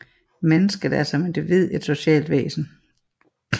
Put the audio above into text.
Mennesket er som individ et socialt væsen